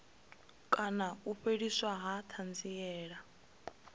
kana u fheliswa ha thanziela